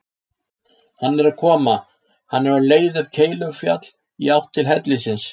Hann er að koma: hann er á leið upp Keilufjall í átt til hellisins.